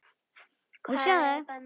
Nei, hún verður sífellt grárri.